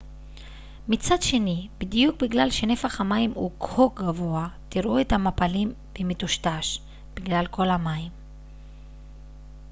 מצד שני בדיוק בגלל שנפח המים הוא כה גבוה תראו את המפלים במטושטש בגלל כל המים